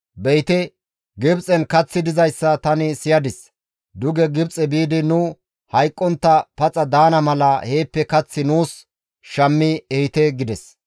Be7ite! Gibxen kaththi dizayssa tani siyadis; duge Gibxe biidi nu hayqqontta paxa daana mala heeppe kath nuus shammi ehite» gides.